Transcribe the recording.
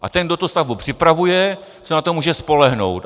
A ten, kdo tu stavbu připravuje, se na to může spolehnout.